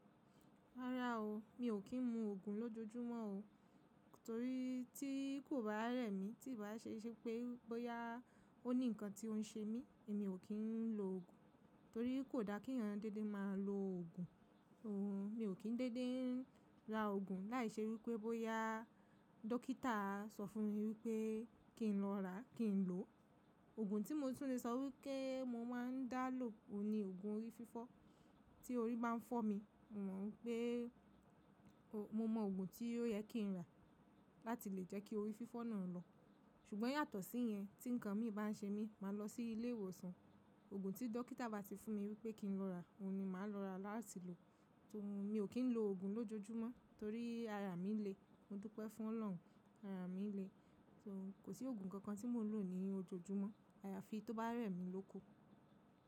Rárá o, mi ò kí ń mu òògùn lójojúmọ́ o. Torí tí kò bá rẹ̀ mí, tí ì bá ṣe iṣẹ́ pé bóyá ó ní nǹkan tí ó ń ṣe mí, èmi ò kí ń lo òògùn. Torí kò da kí èèyàn dédé máa lo òògùn. Mi ò kí ń dédé ń ra òògùn láìṣe wípé bóyá dókítà sọ fún mi wípé kí n lọ ràá, kí n lò ó. Òògùn tí mo tún lè sọ wípé mo máa ń dá ló òun ni òògùn orí fífọ́. Tí orí bá ń fọ́ mi, mò mọ̀ pé mo mọ òògùn tí yẹ kí n rà láti lè jẹ́ kí orí fífọ́ náà lọ. Ṣùgbọ́n yàtọ̀ sí yẹn, tí nǹkan mí bá ń ṣe mí, màá lọ sí ilé ìwòsàn. Òògùn tí dókítà bá ti fún mi wípé kí n lọ rà, òun ni màá lọ rà láti lò ó. Mi ò kí ń lo òògùn lójojúmọ́ torí ara mi le. Mo dúpẹ́ fún Ọlọ́run, ara mi le. Kò sí òògùn kankan tí mò ń lò ní ojoojúmọ́. Àyàfi tó bá rẹ̀ mí lóku.